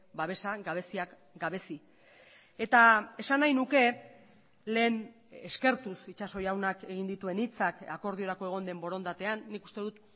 babesa gabeziak gabezi eta esan nahi nuke lehen eskertuz itxaso jaunak egin dituen hitzak akordiorako egon den borondatean nik uste dut